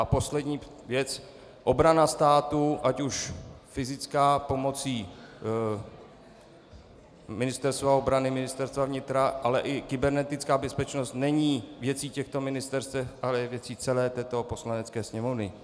A poslední věc, obrana státu, ať už fyzická pomocí Ministerstva obrany, Ministerstva vnitra, ale i kybernetická bezpečnost, není věcí těchto ministerstev, ale je věcí celé toto Poslanecké sněmovny.